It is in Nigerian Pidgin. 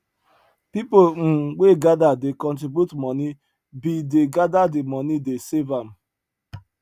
people um wey gather dey contribute money bin dey gather di money dey save am